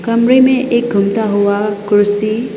कमरे में एक घूमता हुआ कुर्सी--